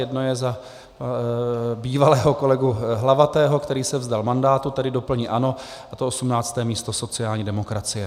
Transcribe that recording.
Jedno je za bývalého kolegu Hlavatého, který se vzdal mandátu, tedy doplní ANO, a to 18. místo sociální demokracie.